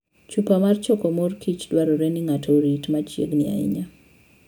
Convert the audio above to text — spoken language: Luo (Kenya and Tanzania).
Chupa mar choko mor kich dwarore ni ng'ato orit machi'eg ni ahinya.